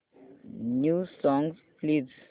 new songs please